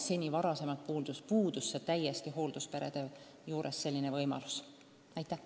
Eriti suur muutus aga on hooldusperede puhul, kellele seni puhkusevõimalus pole laienenud.